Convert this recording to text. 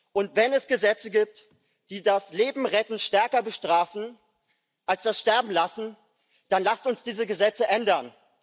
Und wenn es Gesetze gibt, die das Lebenretten stärker bestrafen als das Sterbenlassen, dann lasst uns diese Gesetze ändern.